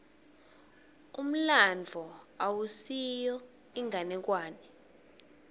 umlandvo awusiyo inganekwane